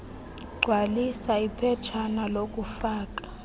gcwalisa iphetshana lokufaka